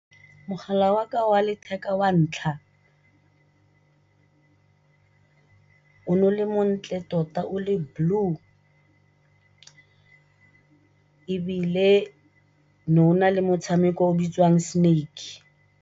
Mogala waka wa letheka wa ntlha o ne o le montle tota o le blue ebile no o nale motshameko o bitsiwang snake.